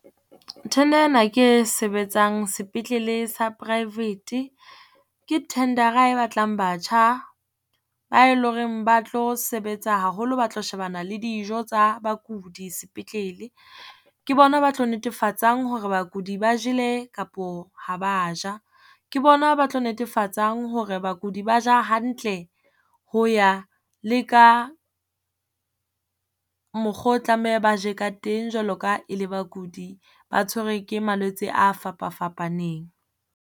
Tender ena ke e sebetsang sepetlele sa private, ke tender-a e batlang batjha ba e lo reng ba tlo sebetsa haholo, ba tlo shebana le dijo tsa bakudi sepetlele. Ke bona ba tlo netefatsang hore bakudi ba jele kapo ha ba ja. Ke bona ba tlo netefatsang hore bakudi ba ja hantle ho ya le ka mokgo o tlameha ba je ka teng jwalo ka e le bakudi ba tshwerwe ke malwetse a fapa-fapaneng.